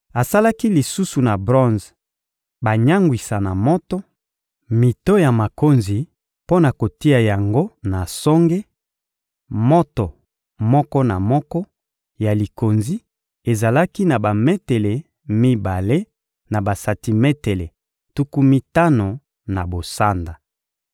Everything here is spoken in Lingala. Asalaki lisusu na bronze banyangwisa na moto mito ya makonzi mpo na kotia yango na songe: moto moko na moko ya likonzi ezalaki na bametele mibale na basantimetele tuku mitano na bosanda.